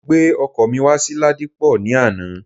Mo gbé ọkọ̀ mi wá sí Ladipo ní àná